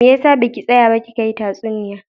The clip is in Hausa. Me yasa baki tsaya ba kika hi tatsuniya?